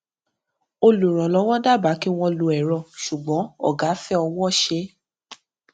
olùrànlówó dábàá kí wọn lo èrọ ṣùgbọn ògá fẹ ọwọṣe